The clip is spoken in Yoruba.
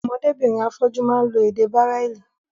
Ọmọdé birin afọ́jú máa lo èdè bráìlì.